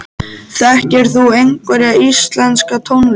Þekkir þú einhverja íslenska tónlist?